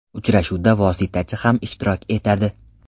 Uchrashuvda vositachi ham ishtirok etadi.